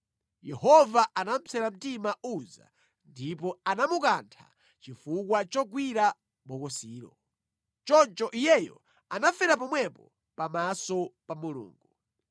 Yehova anapsera mtima Uza ndipo anamukantha chifukwa chogwira bokosilo. Choncho iyeyo anafera pomwepo pamaso pa Mulungu.